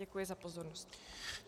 Děkuji za pozornost.